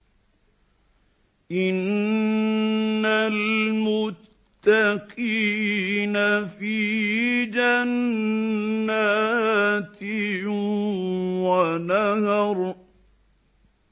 إِنَّ الْمُتَّقِينَ فِي جَنَّاتٍ وَنَهَرٍ